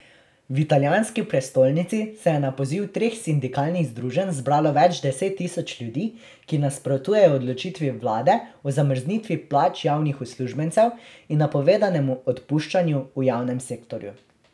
V italijanski prestolnici se je na poziv treh sindikalnih združenj zbralo več deset tisoč ljudi, ki nasprotujejo odločitvi vlade o zamrznitvi plač javnih uslužbencev in napovedanemu odpuščanju v javnem sektorju.